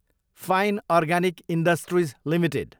fine organic industries Ltd